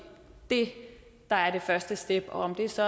det der er det første step om det så